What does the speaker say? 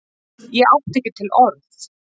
Ég átti ekki til orð!